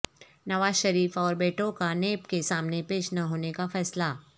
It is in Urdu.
نواز شریف اور بیٹوں کا نیب کے سامنے پیش نہ ہونے کا فیصلہ